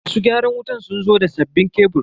Masu gyaran wutan sun zo da sabbinn kebur.